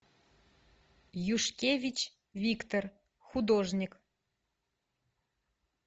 юшкевич виктор художник